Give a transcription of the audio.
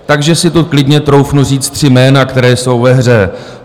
Takže si tu klidně troufnu říct tři jména, která jsou ve hře.